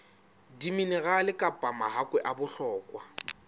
diminerale kapa mahakwe a bohlokwa